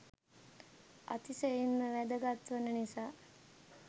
අතිශයින් වැදගත් වන නිසා.